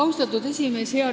Austatud esimees!